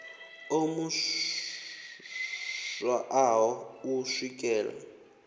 o mu swaṱaho u swikela